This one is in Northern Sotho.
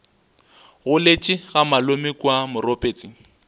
goletše ga malome kua moropetse